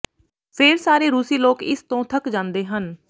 ਫੇਰ ਸਾਰੇ ਰੂਸੀ ਲੋਕ ਇਸ ਤੋਂ ਥੱਕ ਜਾਂਦੇ ਹਨ